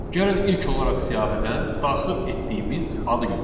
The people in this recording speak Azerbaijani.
Gəlin ilk olaraq siyahıdan daxil etdiyimiz adı götürək.